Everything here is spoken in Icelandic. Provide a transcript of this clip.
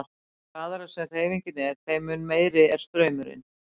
Því hraðari sem hreyfingin er þeim mun meiri er straumurinn.